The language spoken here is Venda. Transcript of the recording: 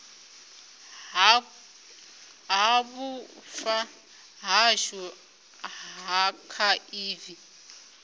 ha vhufa hashu ha akhaivi